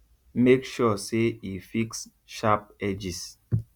make sure say e fix sharp edges